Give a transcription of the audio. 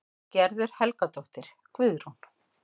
Gerður Helgadóttir, Guðrún